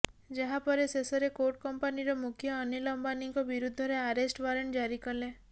ଯାହାପରେ ଶେଷରେ କୋର୍ଟ କମ୍ପାନୀର ମୁଖ୍ୟ ଅନିଲ ଅମ୍ବାନୀଙ୍କ ବିରୁଦ୍ଧରେ ଆରେଷ୍ଟ ୱାରେଣ୍ଟ ଜାରି କଲେ